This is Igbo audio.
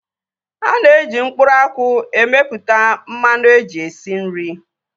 Ana eji mkpụrụ akwụ emeputa mmanụ eji esi nri